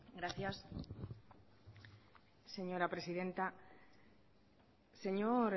gracias señora presidenta señor